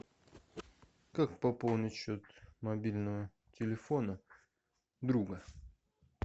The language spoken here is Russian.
как пополнить счет мобильного телефона друга